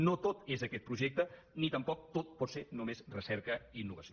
no tot és aquest projecte ni tampoc tot pot ser només recerca i innovació